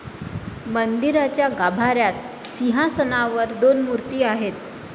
मंदिराच्या गाभाऱ्यात सिंहासनावर दोन मूर्ती आहेत.